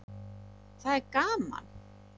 Það er gaman.